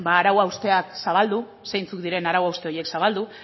ba arau hausteak zabaldu zeintzuk diren arau hauste horiek zabaldu